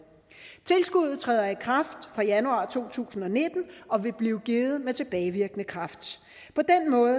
tilskuddet træder i kraft fra januar to tusind og nitten og vil blive givet med tilbagevirkende kraft på den måde